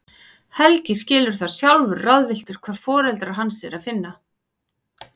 Helgi skilur það, sjálfur ráðvilltur hvar foreldra hans er að finna.